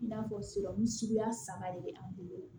I n'a fɔ suguya saba de be an bolo